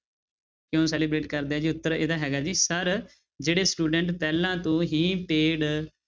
ਕਿਉਂ celebrate ਕਰਦੇ ਆ ਜੀ ਉੱਤਰ ਇਹਦਾ ਹੈਗਾ ਜੀ sir ਜਿਹੜੇ student ਪਹਿਲਾਂ ਤੋਂ ਹੀ paid